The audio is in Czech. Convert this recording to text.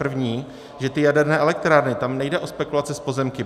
První, že ty jaderné elektrárny, tam nejde o spekulace s pozemky.